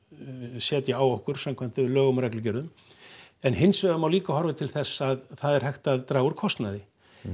setja á okkur samkvæmt lögum og reglugerðum en hins vegar má líka horfa til þess að það er hægt að draga úr kostnaði